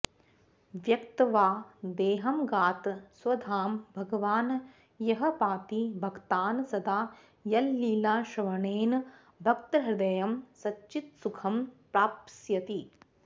त्यक्त्वा देहमगात् स्वधाम भगवान् यः पाति भक्तान् सदा यल्लीलाश्रवणेन भक्तहृदयं सच्चित्सुखं प्राप्स्यति